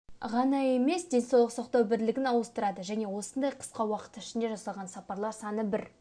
ғана емес денсаулық сақтау бірлігін ауыстырады және осындай қысқа уақыт ішінде жасалған сапарлар саны бір